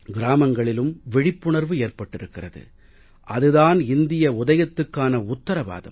கிராமங்களிலும் விழிப்புணர்வு ஏற்பட்டிருக்கிறது அது தான் இந்திய உதயத்துக்கான உத்திரவாதம்